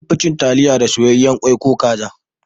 An fi cin Taliya da soyayyen kwai ko kaza